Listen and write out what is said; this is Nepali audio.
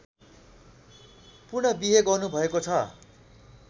पुन बिहे गर्नुभएको छ